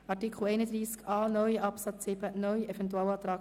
Wer dem Eventualantrag Machado zu Artikel 31a (neu)